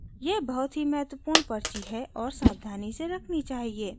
यह बहुत ही महत्वपूर्ण पर्ची है और सावधानी से रखनी चाहिए